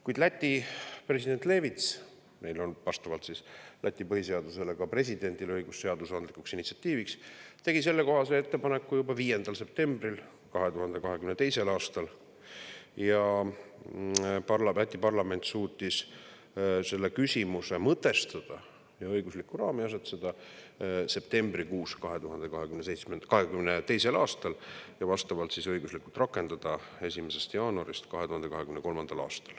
Kuid Läti president Levits – vastavalt Läti põhiseadusele on ka presidendil õigus seadusandlikuks initsiatiiviks – tegi sellekohase ettepaneku juba 5. septembril 2022. aastal ning Läti parlament suutis selle küsimuse mõtestada ja õiguslikku raami asetada septembrikuus 2022 ja vastavalt õiguslikult rakendada 1. jaanuarist 2023.